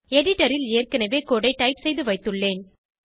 எடிடரில் ஏற்கனவே கோடு ஐ டைப் செய்து வைத்துள்ளேன்